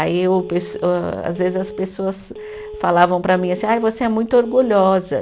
Aí o pes, âh às vezes, as pessoas falavam para mim assim, ai você é muito orgulhosa.